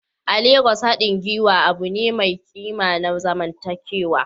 A Legas, haɗin gwiwa abu ne mai ƙima na zamantakewa.